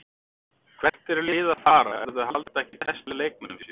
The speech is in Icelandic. Hvert eru lið að fara ef þau halda ekki bestu leikmönnunum sínum?